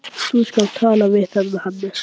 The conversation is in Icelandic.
Þú skalt tala við þennan Hannes.